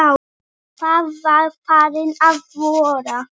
Það var farið að vora.